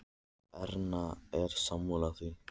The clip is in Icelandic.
Erna er sammála því.